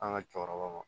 An ka cɛkɔrɔbaw ma